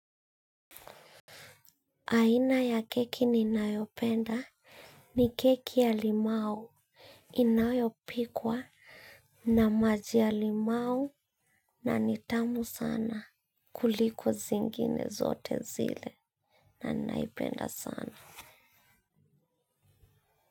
Aina ya keki ninayopenda ni keki ya limau inayopikwa na maji ya limau na ni tamu sana kuliko zingine zote zile na ninaipenda sana.